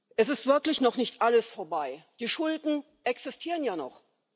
Es ist wirklich noch nicht alles vorbei Die Schulden existieren ja noch.